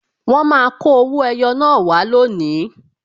Wọn máa kọ owó ẹyọ naa wá lónìí